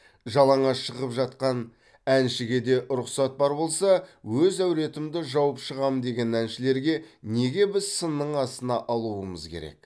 жалаңаш шығып жатқан әншіге де рұқсат бар болса өз әуретімді жауып шығамын деген әншілерге неге біз сынның астына алуымыз керек